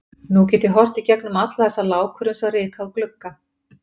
Nú get ég horft í gegnum alla þessa lágkúru eins og ryk á glugga.